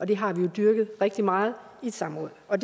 det har vi jo dyrket rigtig meget i et samråd og